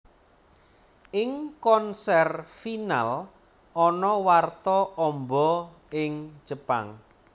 Ing konser Final ana warta amba ing Jepang